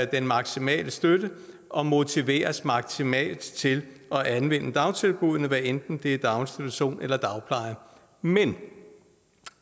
den maksimale støtte og motiveres maksimalt til at anvende dagtilbuddene hvad enten det er daginstitution eller dagpleje men